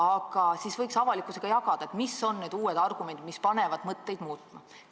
Ent siis võiks avalikkusega jagada, mis on need uued argumendid, mis panevad mõtteid muutma.